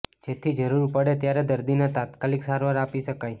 જેથી જરૂર પડે ત્યારે દર્દીને તાત્કાલિક સારવાર આપી શકાય